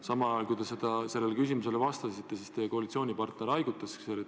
Samal ajal, kui te sellele küsimusele vastasite, teie kõrval istuv koalitsioonipartner haigutas.